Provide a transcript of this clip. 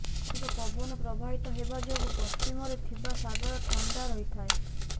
ଅଧିକ ପବନ ପ୍ରବାହିତ ହେବା ଯୋଗୁ ପଶ୍ଚିମରେ ଥିବା ସାଗର ଥଣ୍ଡା ରହିଥାଏ